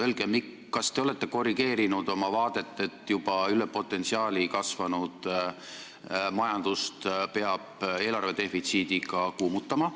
Öelge, kas te olete korrigeerinud oma vaadet, et juba üle potentsiaali kasvanud majandust peab eelarvedefitsiidiga kuumutama.